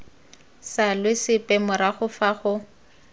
salwe sepe morago fa go